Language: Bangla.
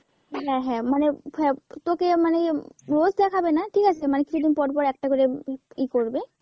হ্যাঁ হ্যাঁ মানে হ্যাঁ তোকে মানে রোজ দেখাবেনা ঠিক আছে মানে কিছুদিন পর পর একটা করে ই করবে,